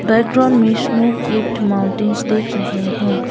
रेड्रो मिशनो किप्ड माउंटेंस दिख रहे हैं।